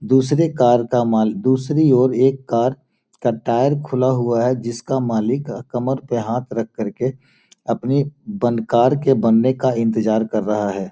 दूसरे कार का दूसरी ओर एक कार का टायर खुला हुआ है जिसका मालिक कमर पे हाँथ रख कर के अपने बन कार का बनने का इंतजार कर रहा है।